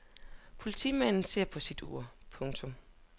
Politimanden så på sit ur. punktum